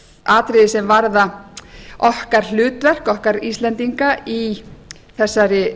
atriði sem varða okkar hlutverk okkar íslendinga í þessari